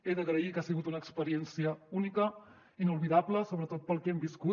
he d’agrair que ha sigut una experiència única inoblidable sobretot pel que hem viscut